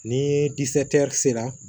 Ni sera